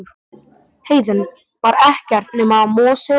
Heiðin var ekkert nema mosi og grjót.